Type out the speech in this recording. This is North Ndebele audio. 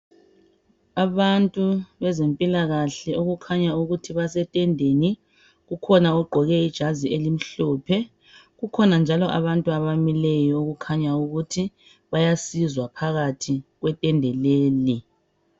Abantu bezempilakahle okukhanya ukuthi basetendeni. Kukhona ogqoke ijazi elimhlophe. Kukhona njalo abantu abamileyo okukhanyayo ukuthi bayasizwa phakathi kwe tende leli.